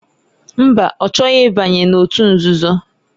Mba ọ chọghị ịbanye n'òtù nzuzo.